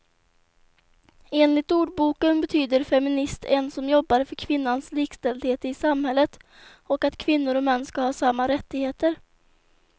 Enligt ordboken betyder feminist en som jobbar för kvinnans likställdhet i samhället och att kvinnor och män ska ha samma rättigheter.